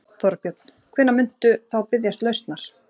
Þorbjörn: Hvenær muntu þá biðjast lausnar?